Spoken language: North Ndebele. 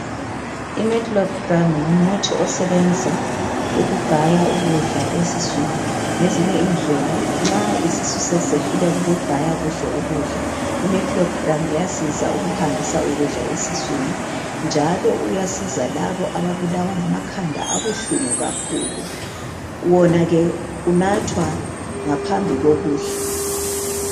Imeclopram ngumuthi osebenza ukugaya ukudla esiswini ngezinye indlela nxa isisu sesisehluleka ukugaya kuhle ukudla imeclopram iyasiza ukuhambisa ukudla esiswini njalo uyasiza labo ababulawa ngamakhanda abuhlungu kakhulu. Wona ke unathwa ngaphambi kokudla.